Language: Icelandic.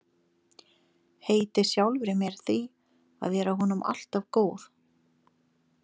Heiti sjálfri mér því að vera honum alltaf góð.